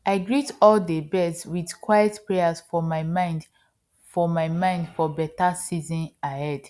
i greet all dey birds with quiet prayers for my mind for my mind for beta season ahead